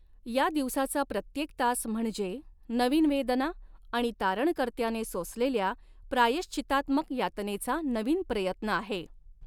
या दिवसाचा प्रत्येक तास म्हणजे नवीन वेदना आणि तारणकर्त्याने सोसलेल्या प्रायश्चितात्मक यातनेचा नवीन प्रयत्न आहे.